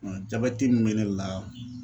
Nka jabɛti mun be ne la